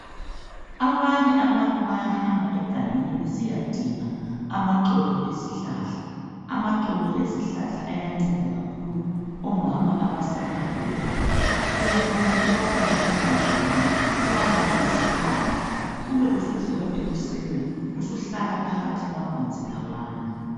Abanye abantu bayahamba egangeni besiyadinga amaxolo ezihlahla. Amaxolo ezihlahla ayanceda kakhulu omama abasanda kubeletha, uyafika uwafake emanzini, uwalalise phandle, ube usuvuka ekuseni, usuhlala phakathi kwamanzi lawana